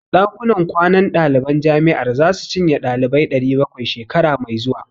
Ɗakunan kwanan ɗaliban jami'ar zasu cinye ɗalibai 700, shekara mai zuwa.